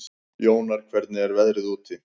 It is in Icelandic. Jónar, hvernig er veðrið úti?